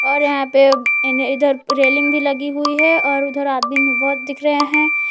और यहां पे इन इधर रेलिंग भी लगी हुई है और उधर आदमी भी बहुत दिख रहे हैं।